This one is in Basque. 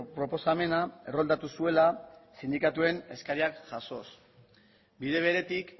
proposamena erroldatu zuela sindikatuen eskariak jasoz bide beretik